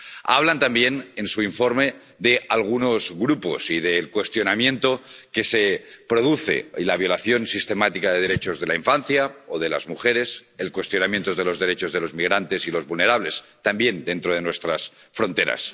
Hablan también en su informe de algunos grupos y del cuestionamiento y la violación sistemática de los derechos de la infancia o de las mujeres, del cuestionamiento de los derechos de los migrantes y las personas vulnerables, también dentro de nuestras fronteras.